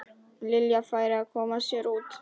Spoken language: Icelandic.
Lilja færi að koma sér út.